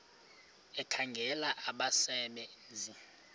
ekhangela abasebe nzi